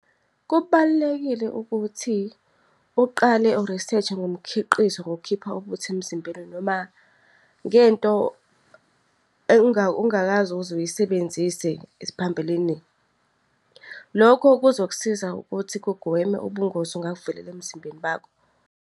Kubalulekile ukuthi uqale u-research-e ngomkhiqizo ngokukhipha ubuthi emzimbeni noma ngento ongakaze uze uyisebenzise phambilini. Lokho kuzoksiza ukuthi kugweme ubungozi obungavela emzimbeni bakho.